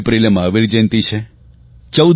9 એપ્રિલે મહાવીરજયંતિ છે